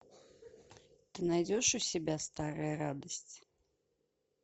ты найдешь у себя старая радость